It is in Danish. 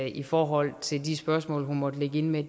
i forhold til de spørgsmål hun måtte ligge inde med